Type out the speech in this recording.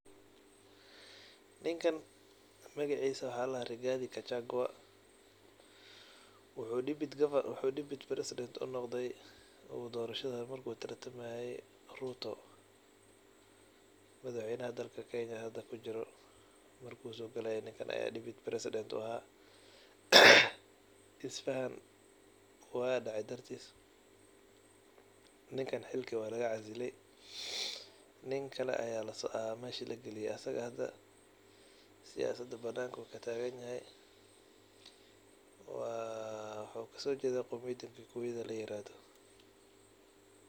Niinkan magaciisa waxa laa dahaa Rigathi Gachagua. wuxu deputy president uu noqdaay uu dorashaada markuu tartamaaye Ruto madaxweynaha dalkaa kenya hadaa kujiiro markuu sogalaaye ninkaan aya deputy president uu ahaa. isfahaan waa dhecee dartiis ninkan xiilka waa lagaa casiile nin kaale aya meshaa laa gaaliye. asagaa hadaa siyasadaa banankuu kaa tagaan yahaay. waa wxu kasoo jeeda qowmiyadaa Kikuyada laa yirahdoo.